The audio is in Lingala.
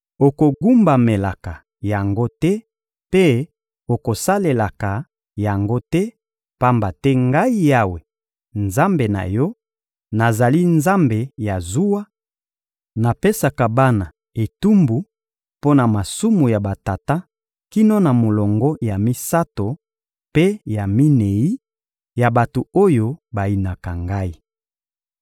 Okogumbamelaka yango te mpe okosalelaka yango te, pamba te Ngai Yawe, Nzambe na yo, nazali Nzambe ya zuwa; napesaka bana etumbu mpo na masumu ya batata kino na molongo ya misato mpe ya minei ya bato oyo bayinaka Ngai.